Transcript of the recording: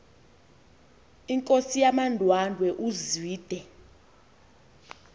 inkosi yamandwandwe uzwide